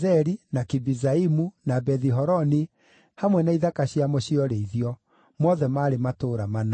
na Kibizaimu, na Bethi-Horoni hamwe na ithaka ciamo cia ũrĩithio; mothe maarĩ matũũra mana.